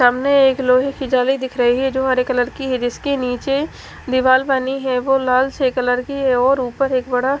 सामने एक लोहे की जाली दिख रही है जो हरे कलर की है जिसके नीचे दीवाल बनी है वो लाल से कलर की है और ऊपर एक बड़ा--